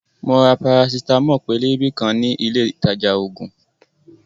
Mo ra parasitamo pélébé kan ní ilé ìtajà ògùn